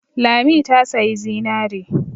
Lami ta sayi zinare.